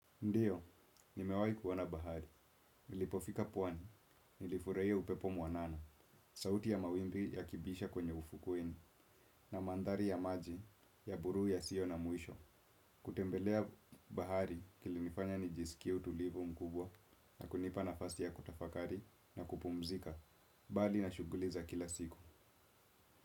Ndiyo, nimewai kuona bahari. Nilipofika puwani, nilifuraia upepo mwanana, sauti ya mawimbi ya kibisha kwenye ufukuweni, na mandhari ya maji ya buru yasio na mwisho. Kutembelea bahari kilinifanya nijisikia utulivo mkubwa na kunipa nafasi ya kutafakari na kupumzika, bali na shuguli za kila siku.